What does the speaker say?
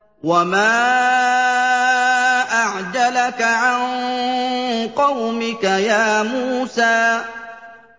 ۞ وَمَا أَعْجَلَكَ عَن قَوْمِكَ يَا مُوسَىٰ